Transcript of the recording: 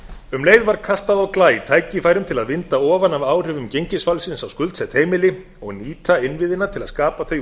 um leið var kastað á glæ tækifærum til að vinda ofan af áhrifum gengisfallsins á skuldsett heimili og nýta innviðina til að skapa þau